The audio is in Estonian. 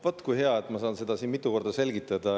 Vot kui hea, et ma saan seda siin mitu korda selgitada.